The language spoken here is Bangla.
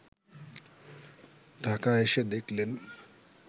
ঢাকা এসে দেখলেন